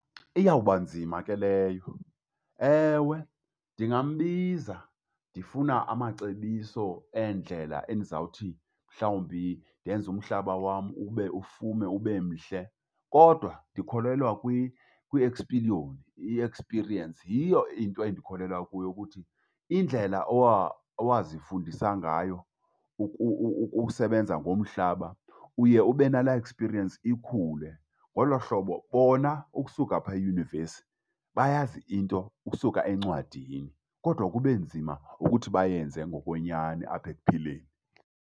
Iyawubanzima ke leyo. Ewe, ndingambiza. Ndifuna amacebiso eendlela endizawuthi mhlawumbi ndenze umhlaba wam ube ufume ube mhle. Kodwa ndikholelwa kwiespiliyoni, i-experience. Yiyo into endikholelwa kuyo ukuthi indlela owazifundisa ngayo ukusebenza ngomhlaba, uye ube nalaa experience ikhule ngolo hlobo. Bona ukusuka phaa eyunivesi, bayazi into ukusuka encwadini kodwa kube nzima ukuthi bayenze ngokwenyani apha ekuphileni.